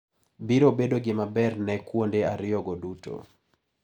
Biiro bedo gima ber ne kuonde ariyogo duto.